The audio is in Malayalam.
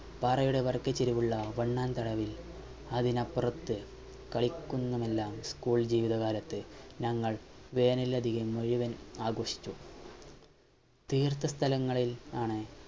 പാറയുടെ വരക്കെചെരിവിലുള്ള തരവിൽ അതിനപ്പുറത്തെ കളിക്കുന്നുമെല്ലാം School ജീവിതക്കാലത്ത് ഞങ്ങൾ വേനലവധി മുയുവൻ ആഘോഷിച്ചു തീർത്ത സ്ഥലങ്ങളിൽ ആണ്